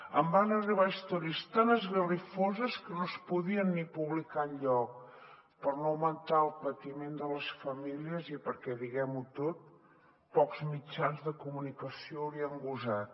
em van arribar històries tan esgarrifoses que no es podien ni publicar enlloc per no augmentar el patiment de les famílies i perquè diguem ho tot pocs mitjans de comunicació haurien gosat